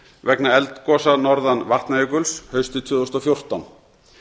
vegna eldgosa norðan vatnajökuls haustið tvö þúsund og fjórtán